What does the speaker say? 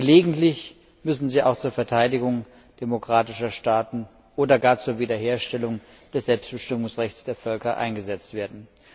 Gelegentlich müssen sie auch zur Verteidigung demokratischer Staaten oder gar zur Wiederherstellung des Selbstbestimmungsrechts der Völker eingesetzt werden.